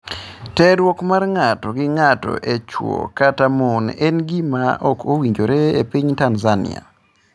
Terruok mar ng'ato gi ng'ato en chwo kata mon en gima ok owinjore e piny Tanzania.